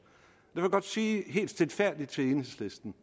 jeg vil godt sige helt stilfærdigt til enhedslisten